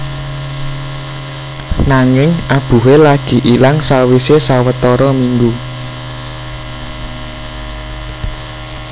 Nanging abuhe lagi ilang sawise sawetara minggu